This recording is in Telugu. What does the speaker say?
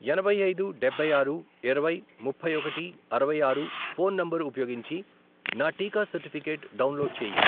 ఎనభై ఐదు, డబ్బై ఆరు, ఇరవై, ముప్పై ఒకటి, అరవై ఆరు, ఫోన్ నంబర్ ఉపయోగించి నా టీకా సర్టిఫికేట్ డౌన్లోడ్ చేయి.